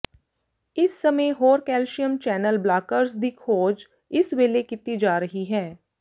ਇਸ ਸਮੇਂ ਹੋਰ ਕੈਲਸ਼ੀਅਮ ਚੈਨਲ ਬਲਾਕਰਜ਼ ਦੀ ਖੋਜ ਇਸ ਵੇਲੇ ਕੀਤੀ ਜਾ ਰਹੀ ਹੈ